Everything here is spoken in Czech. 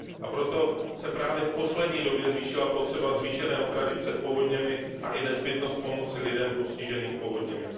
Proto se právě v poslední době zvýšila potřeba zvýšené ochrany před povodněmi a i nezbytnost pomoci lidem postiženým povodněmi.